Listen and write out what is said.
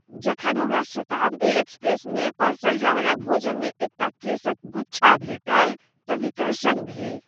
जखन हमरा शताब्दी एक्सप्रेस में परसल जायवला भोजन मे एकटा केशक गुच्छा भेटल तऽ विकर्षण भेल ।